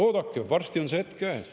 Oodake, varsti on see hetk käes.